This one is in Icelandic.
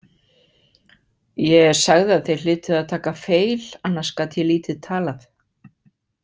Ég sagði að þeir hlytu að taka feil, annars gat ég lítið talað.